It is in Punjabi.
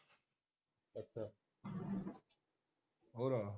ਹੋਰ